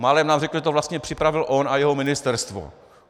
Málem nám řekl, že to vlastně připravil on a jeho ministerstvo.